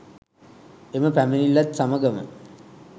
එම පැමිණිල්ලත් සමගම